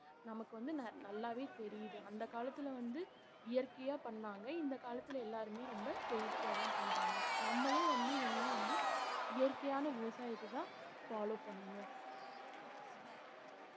நமக்கு வந்து நல்~ நல்லாவே தெரியுது அந்த காலத்துல வந்து இயற்கையா பண்ணாங்க இந்த காலத்துல எல்லாருமே ரொம்ப செயற்கையாதான் பண்றாங்க நம்மளும் வந்து இனிமே வந்து இயற்கையான விவசாயத்தைதான் follow பண்ணணும்